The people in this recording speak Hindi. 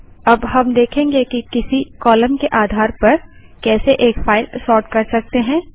अब हम देखेंगे कि किसी कालम के आधार पर कैसे एक फाइल सोर्ट कर सकते हैं